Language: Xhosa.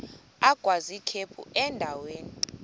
agwaz ikhephu endaweni